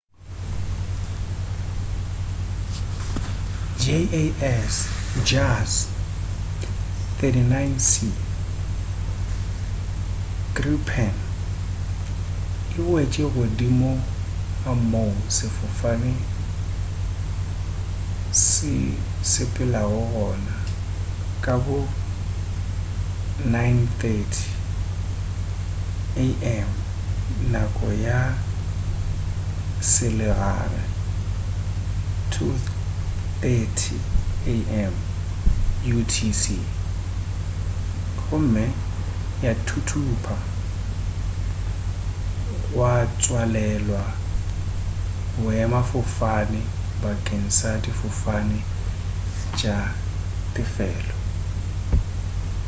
jas 39c gripen e wetše godimo ga moo sefofane se sepelago gona ka bo 9:30 am nako ya selegae 0230utc gomme ya thuthupa gwa tswalelwa boemafofane bakeng sa difofane tša tefelo